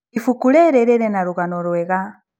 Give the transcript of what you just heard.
Ibuku rĩrĩ rĩrĩ na rũgano rwega.